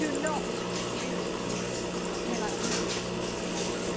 Do not accuse us of inactivity please.